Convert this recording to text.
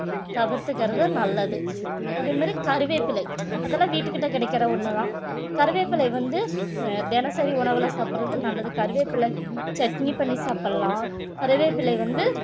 தவிர்த்துக்கிறது நல்லது அதே மாதிரி கறிவேப்பிலை அதெல்லாம் வீட்டுக்கிட்ட கிடைக்கிற ஒண்ணுதான் கருவேப்பிலை வந்து அஹ் தினசரி உணவுல சாப்பிடுறது நல்லது கருவேப்பிலை சட்னி பண்ணி சாப்பிடலாம் கறிவேப்பிலை வந்து